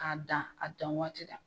K'a dan a dan waati la